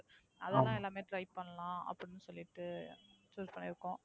எல்லாமே Try பண்ணலாம். அப்படின்னு சொல்லிட்டு Choose பண்ணிருக்கோம்.